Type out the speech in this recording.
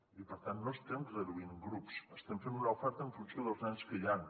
i per tant no estem reduint grups estem fent una oferta en funció dels nens que hi han